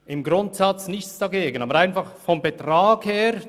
Im Grundsatz haben wir nichts dagegen.